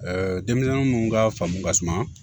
denmisɛnnin minnu ka faamu ka suma